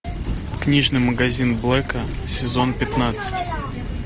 книжный магазин блэка сезон пятнадцать